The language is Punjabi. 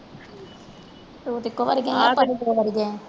ਤੂੰ ਇੱਕੋ ਵਾਰ ਗਈ ਹੈ ਕਿੰਨੇ ਵਾਰੀ ਗਏ ਆਂ